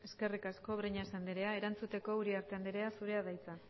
eskerrik asko breñas andrea erantzuteko uriarte andrea zurea da hitza